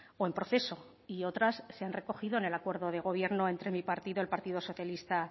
o en proceso y otras se han recogido en el acuerdo de gobierno entre mi partido el partido socialista